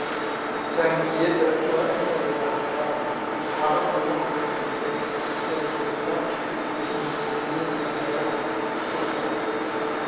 Taangiyada waa inay lahaadaan habab lagu xakameeyo soo gelitaanka kiimikooyinka meelaha ku xeeran.